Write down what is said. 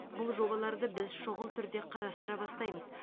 бұл жобаларды біз шұғыл түрде қарастыра бастаймыз